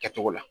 Kɛcogo la